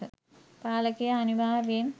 පාලකයා අනිවාර්යයෙන්